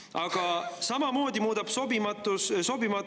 Aga samamoodi muudab teid sobimatuks korruptsioon.